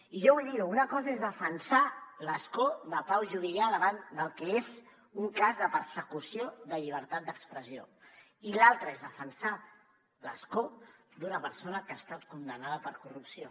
i jo vull dir ho una cosa és defensar l’escó de pau juvillà davant del que és un cas de persecució de llibertat d’expressió i l’altra és defensar l’escó d’una persona que ha estat condemnada per corrupció